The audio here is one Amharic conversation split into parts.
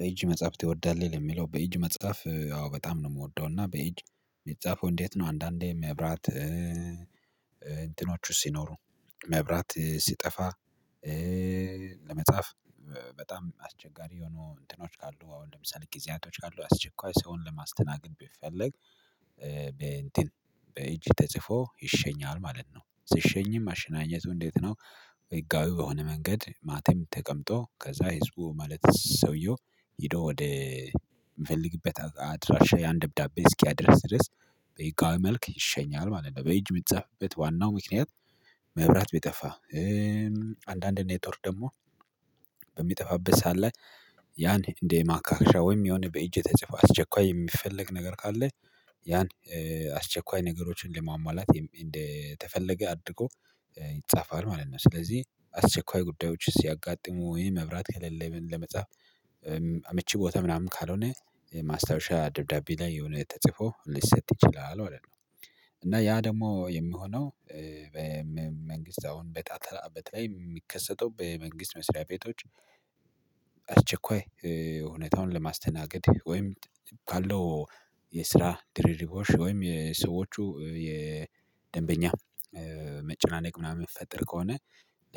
በኢጅ መጽሐፍት ትወዳለህ የሚለው በኢጅ መጽሐፍ አዎ በጣም ነው የምወደው እና በኢጅ የሚጻፈው እንዴት ነው? አንዳንዴ መብራት እንትኖቹ ሲኖሩ መብራት ሲጠፋ ለመጻፍ በጣም አስቸጋሪ የሆኑ እንትኖች ካሉ አሁን ለምሳሌ ጊዜያቶች ካሉ አስቸኳይ ሰውን ለማስተናገድ ቢፈለግ በእንትን በእጅ ተጽፎ ይሸኛል ማለት ነው። ስትሸኝም አሸናኘቱ እንዴት ነው? ህጋዊ በሆነ መንገድ ማቴም ተቀምጦ ከዛ ህዝቡ ማለት ሰውየው ሄዶ ወደ የምፈልግበት አድራሻ ያን ደብዳቤ እስኪያደርስ ድረስ በህጋዊ መልክ ይሸኛል ማለት ነው። በእጅ የምትጻፍበት ዋናው ምክንያት መብራት ቢጠፋ አንዳንድ ኔትወርት ደግሞ በሚጠፋበት ሰዓት ላይ ያን እንደ ማካካሻ ወይም የሆነ በእጄ ተጽፎ አስቸኳይ የሚፈለግ ነገር ካለ ያን አስቸኳይ ነገሮችን ለማሟላት እንደተፈለገ አድርጎ ይጻፋል ማለት ነው። ስለዚህ አስቸኳይ ጉዳዮችን ሲያጋጥሙ ወይ መብራት ከሌለ ለመጻፍ አምቺ ቦታ ምናምን ካልሆነ ማስታወሻ ደብዳቤ ላይ የሆነ የተጽፎ ሊሰጥ ይችላል ማለት ነው። እና ያ ደግሞ የምሆነው በመንግስት አሁን በተለይ የሚከሰተው በመንግስት መስሪያ ቤቶች አስቸኳይ ህውነታውን ለማስተናገድ ወይም ካለው የስራ ድርርቦሽ ወይም የሰዎቹ የደንበኛ መጨናነቅ ምናምን የሚፈጠር ከሆነ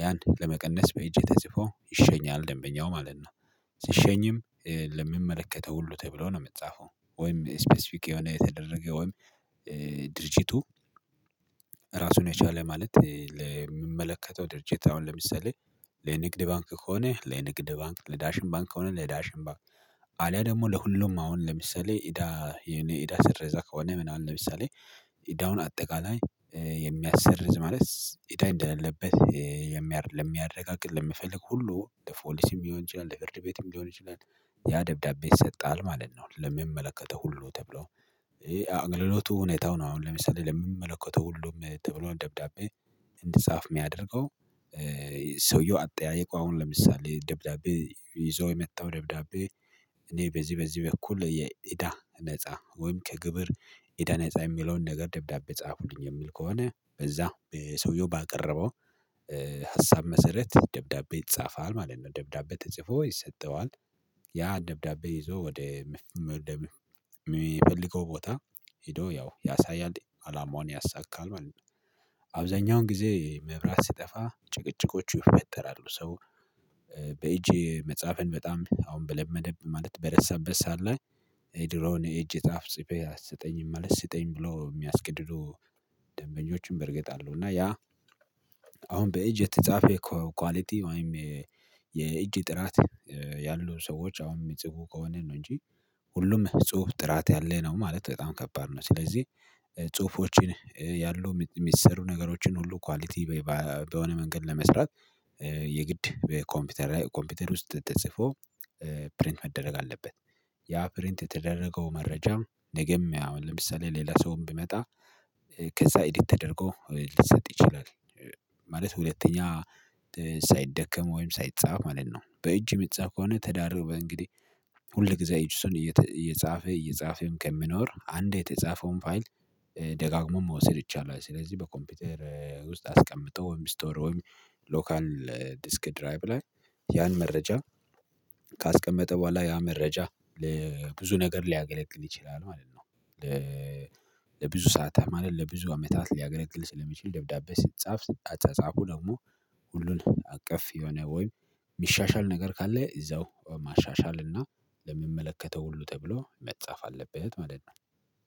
ያን ለመቀነስ በእጄ ተጽፎ ይሸኛል ደንበኛው ማለት ነው። ስሸኝም ለሚመለከተው ሁሉ ተብሎ ነው የምትጻፈው ወይም ስፔሲፊክ የሆነ የተደረገ ወይም ድርጅቱ ራሱን የቻለ ማለት ለምመለከተው ድርጅት አሁን ለምሳሌ ለንግድ ባንክ ከሆነ ለንግድ ባንክ ለዳሽም ባንክ ከሆነ ለዳሽም ባንክ አልያ ደግሞ ለሁሉም አሁን ለምሳሌ ኢዳ የኔ ኢዳ ስረዛ ከሆነ ምናምን ለምሳሌ ኢዳውን አጠቃላይ የሚያስርዝ ማለት ኢዳ እንደሌለበት የሚያ ለሚያረጋግጥ ለሚፈልግ ሁሉ ፖሊስም ሊሆን ይችላል ለፍርድ ቤትም ቢሆን ይችላል። ያ ደብዳቤ ይሰጣል ማለት ነው። ለመመለከተው ሁሉ ተብሎ አገልሎቱ ሁኔታው ነው አሁን ለምሳሌ ለመመለከተው ሁሉም ተብሎ ደብዳቤ እንድጻፍ የሚያደርገው ሰውየው አጥያየቀው አሁን ለምሳሌ ደብዳቤ ይዞ የመጣው ደብዳቤ እኔ በዚህ በዚህ በኩል የኢዳ ነፃ ወይም ከግብር ኢዳ ነፃ የሚለውን ነገር ደብዳቤ ጻፉኝ የሚል ከሆነ በዛ ሰውየው ባቀረበው ሀሳብ መሰረት ደብዳቤ ይጻፋል ማለት ነው። ደብዳቤ ተጽፎ ይሰጠዋል ያ ደብዳቤ ይዞ ወደ የሚፈልገው ቦታ ሄዶ ያው ያሳያል አላማውን ያሳካል ማለት ነው። አብዛኛውን ጊዜ መብራት ሲጠፋ ጭቅጭቆቹ ይፈጠራሉ ሰው በእጅ መጽሐፍን በጣም አሁን በለመደብህ ማለት በረሳበት ሳዓት ለይ የድሮውን እጅ ጻፍ ጽፌ አሰጠኝም ማለት ስጠኝ ብሎ የሚያስገድዱ ደንበኞችን በርግጥ አሉ። እና ያ አሁን በእጅ የተጻፈ የኳሊቲ ወይም የእጅ ጥራት ያሉ ሰዎች አሁንም የጽፉ ከሆነ ነው እንጂ ሁሉም ጽሁፍ ጥራት ያለ ነው ማለት በጣም ከባድ ነው። ስለዚህ ጽሁፎችን ያሉ የሚሰሩ ነገሮችን ሁሉ ኳሊቲ በሆነ መንገድ ለመስራት የግድ በኮምፒውተር ላይ ኮምፒውተር ውስጥ ተጽፎ ፕሪንት መደረግ አለበት። ያ ፕሪንት የተደረገው መረጃ ነገም ያው ለምሳሌ ሌላ ሰውም ቢመጣ ከዛ ኢዲት ተደርጎ ሊሰጥ ይችላል። ማለት ሁለተኛ ሳይደከም ወይም ሳይጻፍ ማለት ነው። በእጅ የሚጻፍ ከሆነ ተዳርበ በእንግዲህ ሁል ጊዜ እጅሶን እየተ እየጻፈ እየጻፈም ከምኖር አንዴ የተጻፈውን ፋይል ደጋግሞ መውሰድ ይቻላል። ስለዚህ በኮምፒውተር ውስጥ አስቀምጠው ስቶር ሎካል ዲስክ ድራይብ ላይ ያን መረጃ ካስቀመጠ በኋላ ያ መረጃ ብዙ ነገር ሊያገለግል ይችላል ማለት ነው። ለብዙ ሰዓት ለብዙ አመታት ሊያገለግል ስለሚችል ደብዳቤ ሲጻፍ አጫጻፉ ደግሞ ሁሉን አቀፍ የሆነ ወይ የሚሻሻል ነገር ካለ እዛው ማሻሻል እና ለመመለከተው ሁሉ ተብሎ መጻፍ አለበት ማለት ነው።